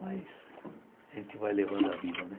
Mas a gente vai levando a vida, né?